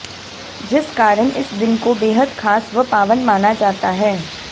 जिस कारण इस दिन को बेहद खास व पावन माना जाता है